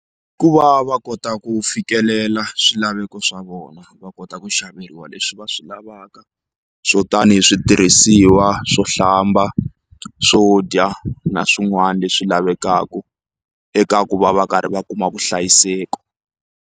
I ku va va kota ku fikelela swilaveko swa vona va kota ku xaveriwa leswi va swi lavaka swo tani hi switirhisiwa swo hlamba swo dya na swin'wani leswi lavekaka eka ku va va karhi va kuma vuhlayiseki.